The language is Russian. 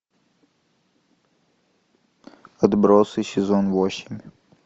отбросы сезон восемь